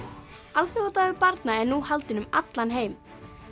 alþjóðadagur barna er nú haldinn um allan heim